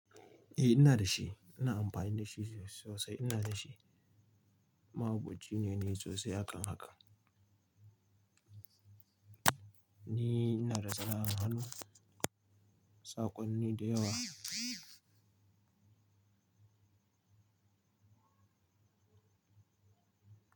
Eh ina da shi, ina amfani da shi sosai. Ina da shi, mahaukaci ne na sosai hakan haka. Ni ina da sana'ar a hannu, saƙonni da yawa.